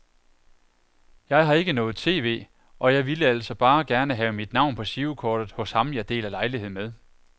Jeg har ikke noget tv, og jeg ville altså bare gerne have mit navn på girokortet hos ham jeg deler lejlighed med.